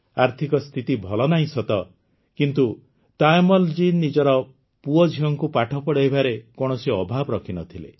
ଆର୍ଥିକ ସ୍ଥିତି ଭଲ ନାହିଁ ସତ କିନ୍ତୁ ତାୟମ୍ମଲ ଜୀ ନିଜର ପୁଅଝିଅଙ୍କୁ ପାଠ ପଢ଼ାଇବାରେ କୌଣସି ଅଭାବ ରଖିନଥିଲେ